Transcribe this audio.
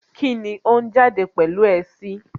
Kíni ó ń jáde pẹ̀lú ẹ sí?